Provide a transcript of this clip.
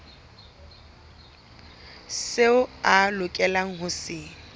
seo a lokelang ho se